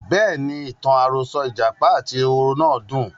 Bẹ́ẹ̀ni, ìtàn àròsọ ìjàpá àti ehoro náà dùn.